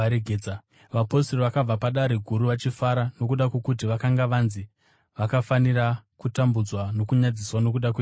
Vapostori vakabva paDare Guru, vachifara nokuda kwokuti vakanga vanzi vakafanira kutambudzwa nokunyadziswa nokuda kweZita iri.